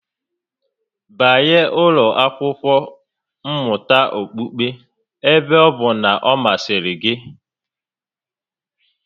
Banye ụlọ akwụkwo mmụta okpukpe ebe ọ bụ na ọ masịrị gị